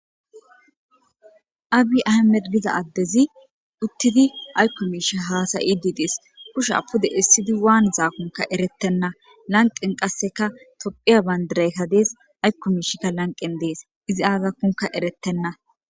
Abi ahimede gida adezi uttidi aykko miishe haasayididees kushe apude essidi waan zaakunka eretenna lanqen qasseka topphiya bayndireyka dees aykko miishikka lanqen dees izi aazakunka eretenna